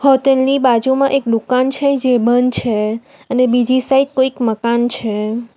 Hotel ની બાજુમાં એક દુકાન છે જે બંધ છે અને બીજી સાઈડ કોઈક મકાન છે.